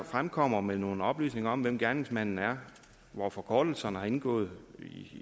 fremkommer med nogle oplysninger om hvem gerningsmanden er hvor forkortelserne har indgået